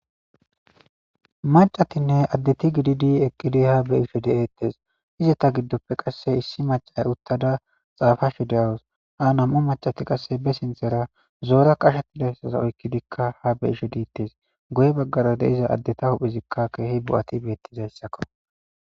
Macatinne addeti gididi eqqidi ha beishe de7ettes. Izita giddoppe qasse issi macay uttada xaafashe dawos ha nam7u macati qasse be sinthera zoora qashettidassaza oykkidikka ha be ishe diittes. Goye baggara deiza addeta huphezikka keehi bu7ati beettizayssakko.